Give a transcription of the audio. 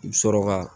I bɛ sɔrɔ ka